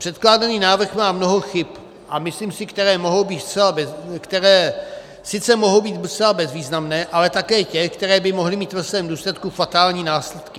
Předkládaný návrh má mnoho chyb, a myslím si, které sice mohou být zcela bezvýznamné, ale také těch, které by mohly mít ve svém důsledku fatální následky.